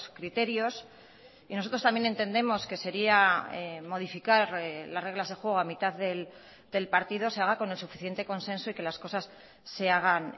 criterios y nosotros también entendemos que sería modificar las reglas de juego a mitad del partido se haga con el suficiente consenso y que las cosas se hagan